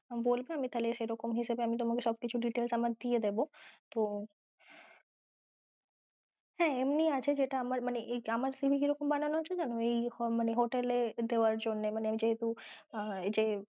বলবে আমি তাহলে সেরকম হিসেবে আমি তোমাকে সব কিছু details আমার দিয়ে দেব তো হ্যাঁ এমনি আছে যেটা আমার মানে আমার CV কি রকম বানানো আছে জানো hotel এ দেয়ার জন্যে মানে যেহেতু যে